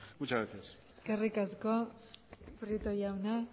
muchas gracias eskerrik asko prieto jauna